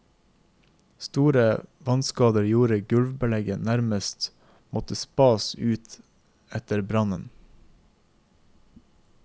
Store vannskader gjorde at gulvbelegget nærmest måtte spas ut etter brannen.